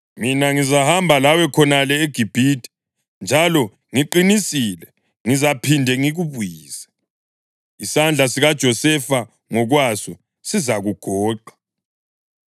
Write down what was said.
Mina ngizahamba lawe khonale eGibhithe, njalo ngiqinisile, ngizaphinde ngikubuyise. Isandla sikaJosefa ngokwaso sizakugoqa.”